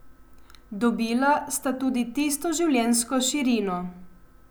Dobila sta tudi tisto življenjsko širino.